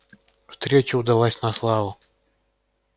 встреча удалась на славу